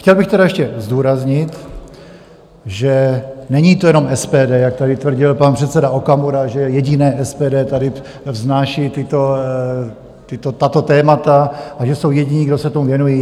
Chtěl bych tedy ještě zdůraznit, že není to jenom SPD, jak tady tvrdil pan předseda Okamura, že jediné SPD tady vznáší tato témata a že jsou jediní, kdo se tomu věnují.